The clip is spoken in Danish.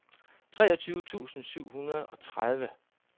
treogtyve tusind syv hundrede og tredive